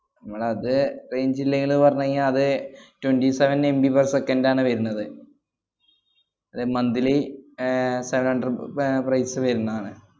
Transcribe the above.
മ്മളത് range ഇല്ലേങ്കില് പറഞ്ഞ് കയിഞ്ഞാ അത് twenty sevenMBper second ആണ് വരുന്നത്. അത് monthly ഏർ seven hundred ബ~ പ~ ഏർ price വരുന്നാണ്.